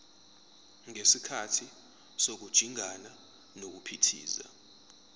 ngesikhathi sokujingana nokuphithiza